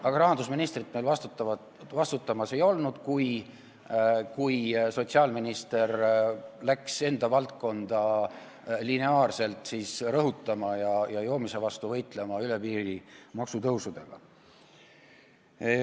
Aga rahandusministrit meil vastutamas ei olnud, kui sotsiaalminister asus enda valdkonda lineaarselt rõhutama ja joomise vastu võitlema üle piiri maksutõusudega.